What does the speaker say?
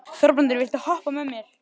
Þorbrandur, viltu hoppa með mér?